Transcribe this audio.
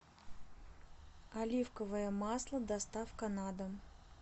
оливковое масло доставка на дом